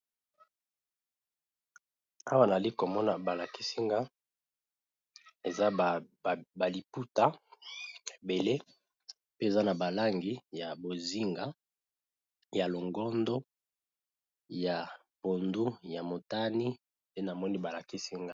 Awa nayali komona ba lakisinga eza ba liputa ebele pe eza na ba langi ya bozinga ya longondo ya pondu ya motani pe namoni ba lakisinga.